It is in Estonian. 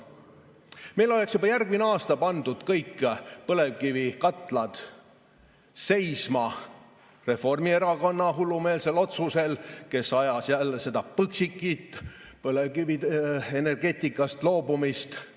Meil oleks juba järgmine aasta pandud kõik põlevkivikatlad seisma Reformierakonna hullumeelsel otsusel, kes ajas jälle seda Põxiti, põlevkivienergeetikast loobumise asja.